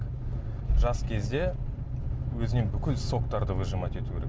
жас кезде өзіңнен бүкіл соктарды выжимать ету керек